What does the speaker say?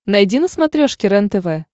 найди на смотрешке рентв